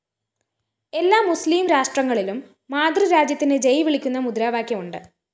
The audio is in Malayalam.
എല്ലാ മുസ്ലിം രാഷ്ട്രങ്ങളിലും മാതൃരാജ്യത്തിന് ജയ്‌ വിളിക്കുന്ന മുദ്രാവാക്യമുണ്ട്